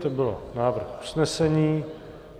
To byl návrh usnesení.